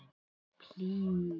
Um það skrifar hann